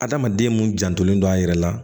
Adamaden mun janten don a yɛrɛ la